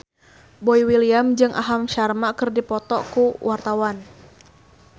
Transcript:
Boy William jeung Aham Sharma keur dipoto ku wartawan